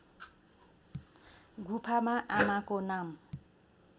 गुफामा आमाको नाम